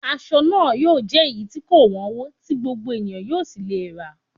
Aṣọ náà yóò jẹ́ èyí tí kò wọ́nwó, tí gbogbo ènìyàn yóò sì lè rà á